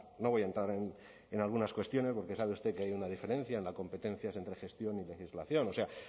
no voy a entrar en algunas cuestiones porque sabe usted que hay una diferencia en las competencias entre gestión y legislación o sea